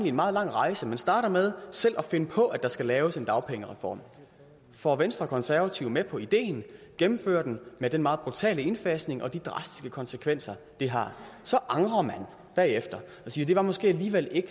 en meget lang rejse man starter med selv at finde på at der skal laves en dagpengereform får venstre og konservative med på ideen gennemfører den med den meget brutale indfasning og de drastiske konsekvenser det har så angrer man bagefter og siger det måske alligevel ikke